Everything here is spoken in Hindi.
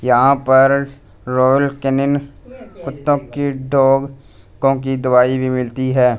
यहां पर रॉयल केनिन कुत्तों की डॉग कों की दवाई भी मिलती है।